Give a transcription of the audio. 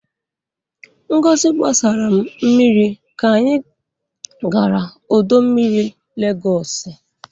Ngozi gbasara m mmiri ka anyị gara ọdọ mmiri Legọsị.